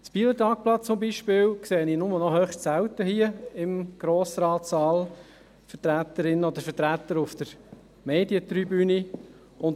Vom «Bieler Tagblatt» zum Beispiel sehe ich nur noch höchst selten Vertreterinnen oder Vertreter auf der Medientribüne im Grossratssaal.